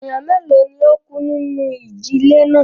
Ènìyàn mélòó ni ó kú nínú ìjì-ilẹ̀ náà?